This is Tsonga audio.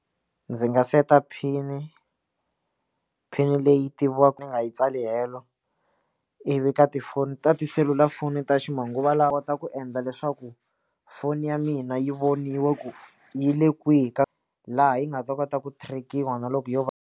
Ndzi nga seta phini phini leyi tiviwaka ni nga yi tsali helo ivi ka tifoni ta tiselulafoni ta ximanguva lawa kota ku endla leswaku foni ya mina yi voniwa ku yi le kwihi ka laha yi nga ta kota ku track-iwa na loko yo va.